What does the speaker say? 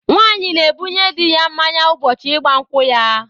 Nwaanyị na-ebunye di ya mmáñyá ụbọchị ịgba nkwụ ya.